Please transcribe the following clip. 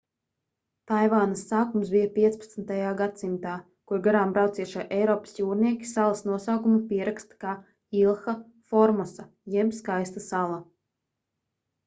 taivānas sākums bija 15. gadsimtā kur garām braucošie eiropas jūrnieki salas nosaukumu pieraksta kā ilha formosa jeb skaista sala